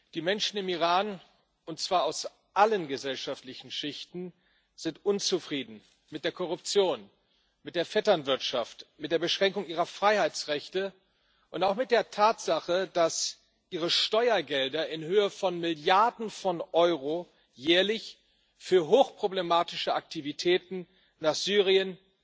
Die Menschen im Iran, und zwar aus allen gesellschaftlichen Schichten, sind unzufrieden mit der Korruption, mit der Vetternwirtschaft, mit der Beschränkung ihrer Freiheitsrechte und auch mit der Tatsache, dass ihre Steuergelder in Höhe von Milliarden von Euro jährlich für hochproblematische Aktivitäten nach Syrien,